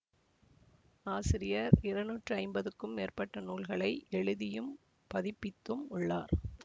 ஆசிரியர் இருநூற்று ஐம்பதுக்கும் மேற்பட்ட நூல்களை எழுதியும் பதிப்பித்தும் உள்ளார்